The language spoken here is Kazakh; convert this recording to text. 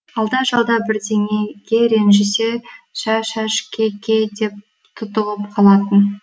алда жалда бірдеңеге ренжісе шә шәш ке ке деп тұтығып қалатын